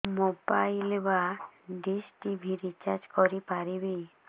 mobile ବା dish TV recharge କରି ପାରିବି